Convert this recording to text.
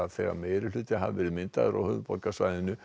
þegar meirihlutar hafi verið myndaðir á höfuðborgarsvæðinu